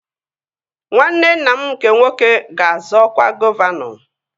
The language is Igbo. Nwanne nna m nke nwoke ga-azọ ọkwa gọvanọ